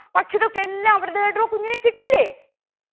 പക്ഷികൾക്ക് എല്ലാം അവരുടേതായിട്ടുള്ള കുഞ്ഞിനെ കിട്ടിയില്ലേ